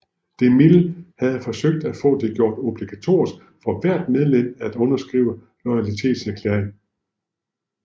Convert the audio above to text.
DeMille havde forsøgt at få det gjort obligatorisk for hvert medlem at underskrive en loyalitetserklæring